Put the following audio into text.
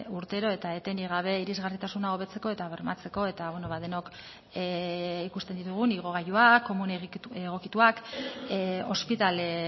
urtero eta etenik gabe irisgarritasuna hobetzeko eta bermatzeko eta denok ikusten ditugun igogailuak komun egokituak ospitale